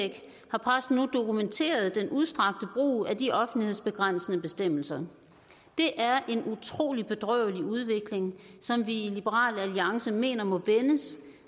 har pressen nu dokumenteret den udstrakte brug af de offentlighedsbegrænsende bestemmelser det er en utrolig bedrøvelig udvikling som vi i liberal alliance mener må vendes